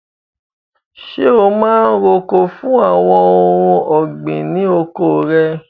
Ṣé o máa ń roko fún àwọn ohun ọ̀gbìn ní oko rẹ?